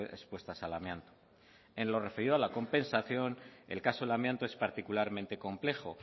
expuestas al amianto en lo referido a la compensación el caso del amianto es particularmente complejo